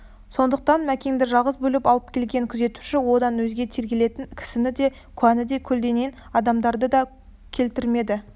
сондықтан мәкенді жалғыз бөліп алып келген күзетуші одан өзге тергелетін кісіні де куәні де көлденең адамдарды да келтірмеді